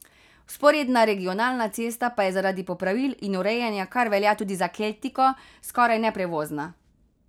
Vzporedna regionalna cesta pa je zaradi popravil in urejanja, kar velja tudi za keltiko, skoraj neprevozna.